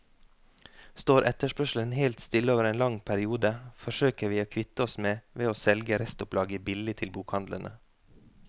Står etterspørselen helt stille over en lang periode, forsøker vi å kvitte oss med ved å selge restopplaget billig til bokhandlene.